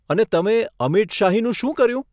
અને તમે અમીટ શાહીનું શું કર્યું?